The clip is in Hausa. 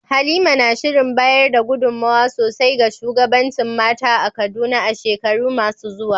Halima na shirin bayar da gudunmawa sosai ga shugabancin mata a Kaduna a shekaru masu zuwa.